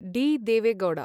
D. Deve Gowda